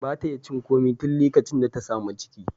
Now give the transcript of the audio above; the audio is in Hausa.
Ba ta iya cin komai tun likacin da ta sami ciki.